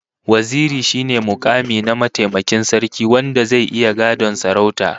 Waziri shine mukami na mataimakin sarki wanda zai iya gadon sarautar